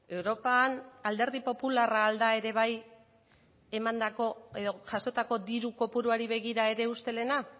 europan alderdi popularra ahal da ere bai emandako edo jasotako diru kopuruari begira ere ustelena